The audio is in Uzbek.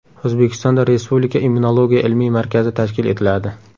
O‘zbekistonda Respublika immunologiya ilmiy markazi tashkil etiladi.